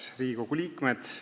Head Riigikogu liikmed!